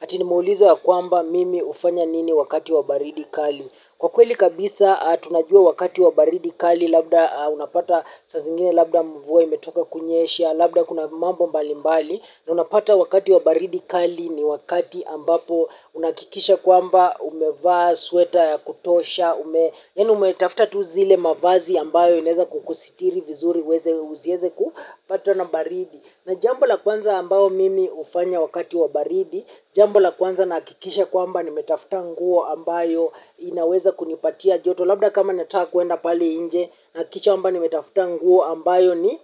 Ati nimeulizwa ya kwamba mimi hufanya nini wakati wa baridi kali. Kwa kweli kabisa tunajua wakati wa baridi kali labda unapata saaa zingine labda mvua imetoka kunyesha, labda kuna mambo mbali mbali na unapata wakati wa baridi kali ni wakati ambapo unahakikisha kwamba umevaa, sweta, ya kutosha, ume yaani umetafuta tu zile mavazi ambayo inaeza kukusitiri vizuri uweze uzieze kupatwa na baridi. Na jambo la kwanza ambao mimi hufanya wakati wa baridi, jambo la kwanza nahakikisha kwamba nimetafuta nguo ambayo inaweza kunipatia joto. Labda kama nataka kuenda pale nje, nahakikisha kwamba nimetafuta nguo ambayo ni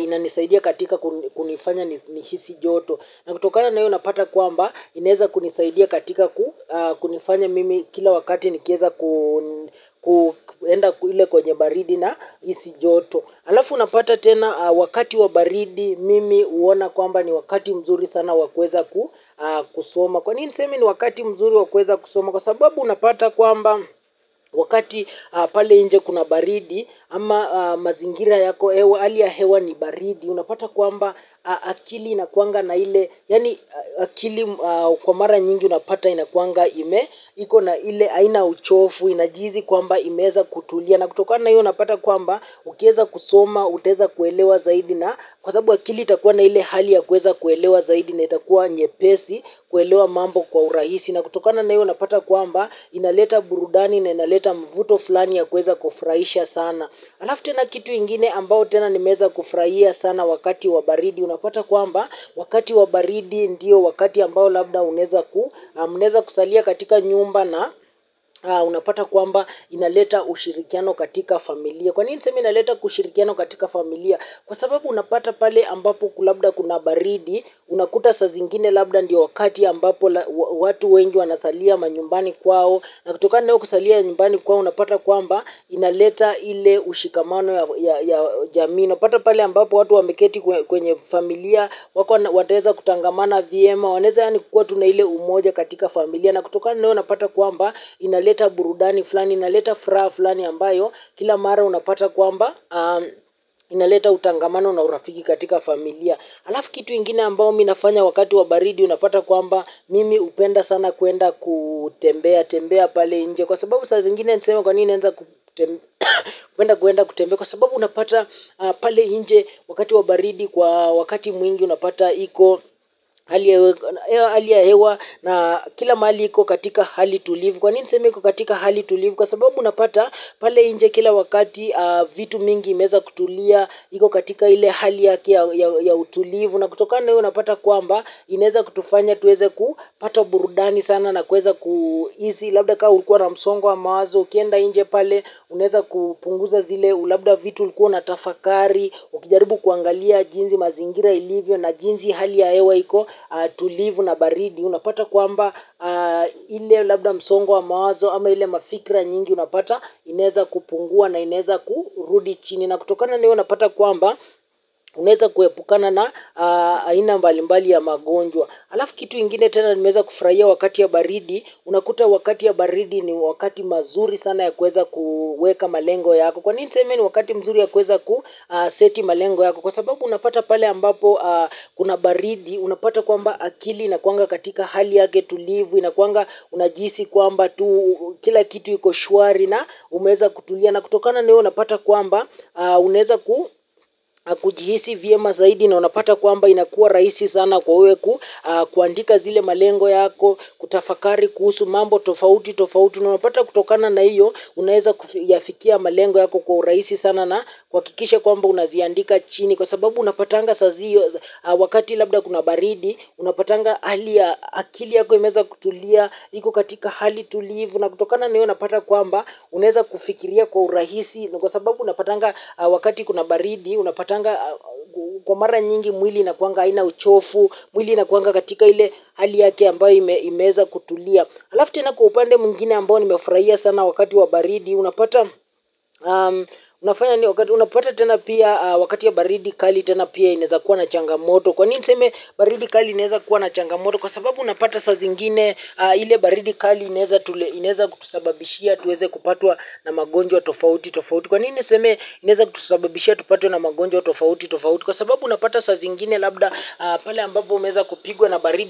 inanisaidia katika kunifanya ni hisi joto. Na kutokana na hiyo unapata kwamba inaweza kunisaidia katika kunifanya mimi kila wakati nikieza kuenda ile kwenye baridi na hisi joto. Alafu unapata tena wakati wa baridi mimi huona kwamba ni wakati mzuri sana wa kuweza kusoma. Kwa nini niseme ni wakati mzuri wa kuweza kusoma kwa sababu unapata kwamba wakati pale nje kuna baridi ama mazingira yako hewa hali ya hewa ni baridi. Unapata kwamba akili inakuanga na ile yaani akili kwa mara nyingi unapata inakuanga ime. Iko na ile aina uchofu inajihisi kwamba imeeza kutulia na kutokana na iyo unapata kwamba ukieza kusoma, utaeza kuelewa zaidi na kwa sababu akili itakuwa na ile hali ya kueza kuelewa zaidi na itakuwa nyepesi kuelewa mambo kwa urahisi na kutokana na iyo unapata kwamba inaleta burudani na inaleta mvuto fulani ya kuweza kufurahisha sana. Alafu tena kitu ingine ambao tena nimeeza kufurahia sana wakati wa baridi unapata kwamba wakati wa baridi ndio wakati ambao labda unaeza ku mnaeza kusalia katika nyumba na unapata kwamba inaleta ushirikiano katika familia. Kwa nini niseme inaleta kushirikiano katika familia? Kwa sababu unapata pale ambapo ku labda kuna baridi, unakuta saa zingine labda ndio wakati ambapo watu wengi wanasalia manyumbani kwao, na kutokana hiyo kusalia nyumbani kwao unapata kwamba inaleta ile ushikamano ya jamii. Unapata pale ambapo watu wameketi kwenye familia, wako wataeza kutangamana vyema, wanaeza yaani kukuwa tu na ile umoja katika familia. Na kutokana na hiyo unapata kwamba inaleta burudani fulani, inaleta furaha fulani ambayo. Kila mara unapata kwamba inaleta utangamano na urafiki katika familia. Alafu kitu ingine ambao mi nafanya wakati wa baridi unapata kwamba mimi hupenda sana kuenda kutembea, tembea pale nje. Kwa sababu saa zingine tuseme kwa nini naenza kuenda kuenda kutembea. Kwa sababu unapata pale nje wakati wa baridi kwa wakati mwingi unapata iko hali ya hewa na kila mali iko katika hali tulivu. Kwa nini niseme iko katika hali tulivu kwa sababu unapata pale nje kila wakati vitu mingi imeeza kutulia iko katika ile hali yake ya utulivu. Na kutokana na hiyo unapata kwamba, inaeza kutufanya tuweze kupata burudani sana na kuweza kuhisi, labda kaa ulikuwa na msongo wa mawazo, ukienda nje pale, unaeza kupunguza zile, labda vitu ulikuwa unatafakari, ukijaribu kuangalia jinsi mazingira ilivyo na jinsi hali ya hewa iko tulivu na baridi. Unapata kwamba ile labda msongo wa mawazo ama ile mafikira nyingi unapata inaeza kupungua na inaeza kurudi chini. Na kutokana na hiyo unapata kwamba unaeza kuepukana na aina mbalimbali ya magonjwa. Alafu kitu ingine tena nimeeza kufurahia wakati ya baridi. Unakuta wakati ya baridi ni wakati mazuri sana ya kuweza kuweka malengo yako. Kwa nini niseme ni wakati mzuri ya kuweza kuseti malengo yako. Kwa sababu unapata pale ambapo kuna baridi, unapata kwamba akili, inakuanga katika hali yake tulivu, inakuanga unajihisi kwamba kila kitu iko shwari na umeeza kutulia. Na kutokana na hiyo unapata kwamba unaeza kujihisi vyema zaidi na unapata kwamba inakuwa rahisi sana kwa wewe ku, kuandika zile malengo yako, kutafakari, kuhusu mambo, tofauti, tofauti. Unapata kutokana na hiyo, unaweza kuyafikia malengo yako kwa urahisi sana na kuhakikisha kwamba unaziandika chini. Kwa sababu unapatanga saziyo wakati labda kuna baridi, unapatanga hali akili yako imeeza kutulia, iko katika hali tulivu. Na kutokana na hiyo, unapata kwamba unaeza kufikiria kwa urahisi. Kwa sababu unapatanga wakati kuna baridi, unapatanga kwa mara nyingi mwili inakuanga haina uchofu, mwili inakuanga katika ile hali yake ambayo imeeza kutulia. Alafu tena kwa upande mwingine ambao nimeufurahia sana wakati wa baridi unapata tena pia wakati ya baridi kali tena pia inaeza kuwa na changamoto. Kwa nini niseme baridi kali inaeza kuwa na changamoto. Kwa sababu unapata saa zingine ile baridi kali inaeza kutusababishia tuweze kupatwa na magonjwa tofauti. Kwa nini niseme inaeza kutusababishia tupatwe na magonjwa tofauti tofauti. Kwa sababu unapata saa zingine labda pale ambapo umeeza kupigwa na baridi.